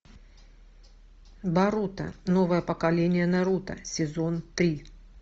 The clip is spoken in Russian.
боруто новое поколение наруто сезон три